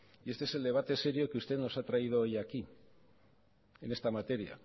y este es el debate serio que usted nos ha traído hoy aquí en esta materia